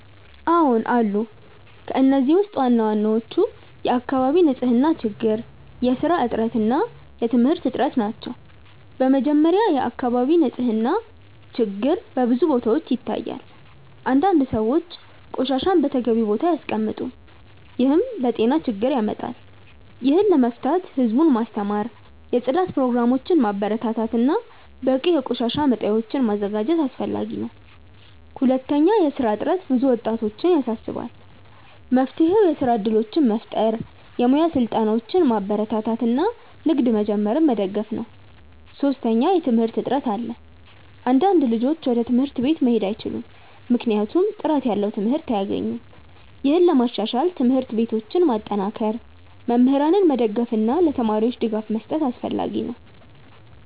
አዎን አሉ። ከእነዚህ ውስጥ ዋናዎቹ የአካባቢ ንፅህና ችግር፣ የስራ እጥረት እና የትምህርት እጥረት ናቸው። በመጀመሪያ፣ የአካባቢ ንፅህና ችግር በብዙ ቦታዎች ይታያል። አንዳንድ ሰዎች ቆሻሻን በተገቢው ቦታ አያስቀምጡም፣ ይህም ለጤና ችግር ያመጣል። ይህን ለመፍታት ህዝቡን ማስተማር፣ የጽዳት ፕሮግራሞችን ማበረታታት እና በቂ የቆሻሻ መጣያዎችን ማዘጋጀት አስፈላጊ ነው። ሁለተኛ፣ የስራ እጥረት ብዙ ወጣቶችን ያሳስባል። መፍትሄው የስራ እድሎችን መፍጠር፣ የሙያ ስልጠናዎችን ማበረታታት እና ንግድ መጀመርን መደገፍ ነው። ሶስተኛ፣ የትምህርት እጥረት አለ። አንዳንድ ልጆች ወደ ትምህርት ቤት መሄድ አይችሉም ወይም ጥራት ያለው ትምህርት አያገኙም። ይህን ለማሻሻል ትምህርት ቤቶችን ማጠናከር፣ መምህራንን መደገፍ እና ለተማሪዎች ድጋፍ መስጠት አስፈላጊ ነው።